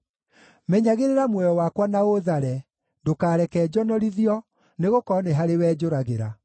Menyagĩrĩra muoyo wakwa na ũũthare; ndũkareke njonorithio, nĩgũkorwo nĩ harĩwe njũragĩra.